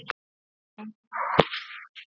Nei, nei!